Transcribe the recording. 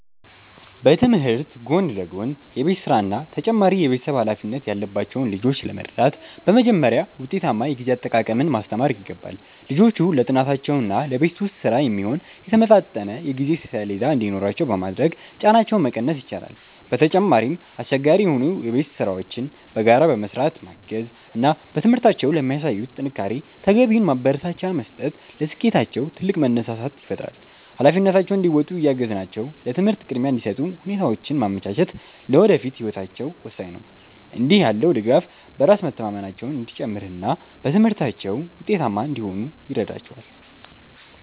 በትምህርት ጎን ለጎን የቤት ሥራና ተጨማሪ የቤተሰብ ኃላፊነት ያለባቸውን ልጆች ለመርዳት በመጀመሪያ ውጤታማ የጊዜ አጠቃቀምን ማስተማር ይገባል። ልጆቹ ለጥናታቸውና ለቤት ውስጥ ሥራ የሚሆን የተመጣጠነ የጊዜ ሰሌዳ እንዲኖራቸው በማድረግ ጫናቸውን መቀነስ ይቻላል። በተጨማሪም፣ አስቸጋሪ የሆኑ የቤት ሥራዎችን በጋራ በመሥራት ማገዝ እና በትምህርታቸው ለሚያሳዩት ጥንካሬ ተገቢውን ማበረታቻ መስጠት ለስኬታቸው ትልቅ መነሳሳት ይፈጥራል። ኃላፊነታቸውን እንዲወጡ እያገዝናቸው ለትምህርት ቅድሚያ እንዲሰጡ ሁኔታዎችን ማመቻቸት ለወደፊት ህይወታቸው ወሳኝ ነው። እንዲህ ያለው ድጋፍ በራስ መተማመናቸው እንዲጨምርና በትምህርታቸው ውጤታማ እንዲሆኑ ይረዳቸዋል።